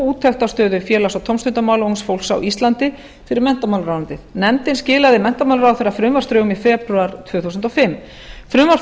úttekt á stöðu félags og tómstundamála ungs fólks á íslandi fyrir menntamálaráðuneytið nefndin skilaði menntamálaráðherra frumvarpsdrögum í febrúar tvö þúsund og fimm frumvarp